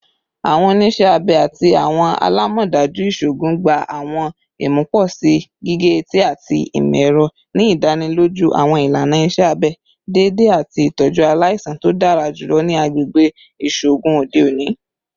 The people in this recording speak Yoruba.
Awọn oniṣẹ abẹ ati awọn alamọdaju iṣoogun gba awọn imuposi gige-eti ati imọ-ẹrọ, ni idaniloju awọn ilana iṣẹ abẹ deede ati itọju alaisan to dara julọ ni agbegbe iṣoogun ode oni.